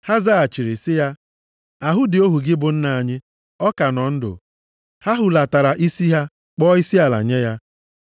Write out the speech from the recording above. Ha zaghachiri sị ya, “Ahụ dị ohu gị bụ nna anyị. Ọ ka nọ ndụ.” Ha hulatara isi ha, kpọọ isiala nye ya.